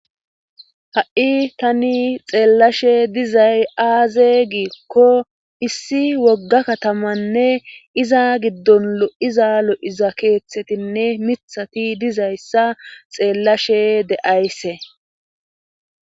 Ha"i tani xeellashe dizay aaze giikko issi wogga katamanne iza giddon lo"iza lo"iza keeththetinne mithati dizayssa xeellashe de7ayse